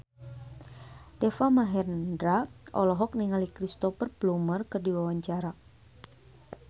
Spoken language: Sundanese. Deva Mahendra olohok ningali Cristhoper Plumer keur diwawancara